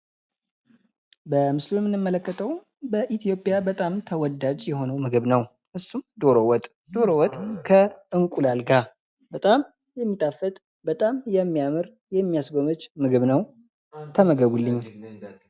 በምስሉ ላይ የምንመልከተው በኢትዮጵያ በጣም ተወዳጅ የሆነ ምግብ ነው። እሱም ዶሮ ወጥ ፤ ዶሮ ወጥ ከእንቁላል ጋር በጣም የሚጣፍጥ፣ በጣም የሚያምር ፣የሚያስጎመጅ ምግብ ነው ተመገቡልኝ።